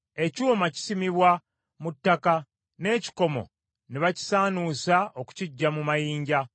Ekyuma kisimibwa mu ttaka, n’ekikomo ne bakisaanuusa okukiggya mu mayinja.